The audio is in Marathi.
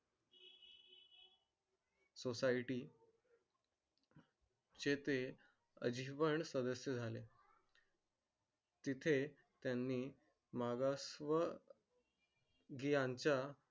society चे ते अजिवन सदस्य झाले. तिथे त्यांनी मागास व. जी यांच्या.